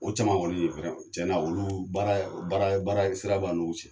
Ko caman olu de tiɲɛna olu baara baara sira b'a n'olu cɛ